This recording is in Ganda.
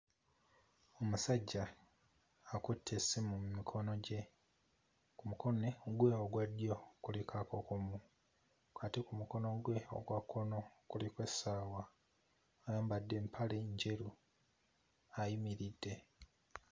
Ousajja akutte essimu mu mikono gye, ku mukone gwe ogwa ddyo kuliko akakomo ate ku mukono gwe ogwa kkono kuliko essaawa. Ayambadde empale njeru ayimiridde.